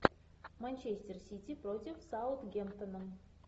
манчестер сити против саутгемптона